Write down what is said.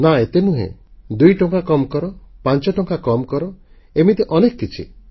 ନାଁ ଏତେ ନୁହେଁ ଦୁଇଟଙ୍କା କମ୍ କର ପାଞ୍ଚଟଙ୍କା କମ କର ଏମିତି ଅନେକ କିଛି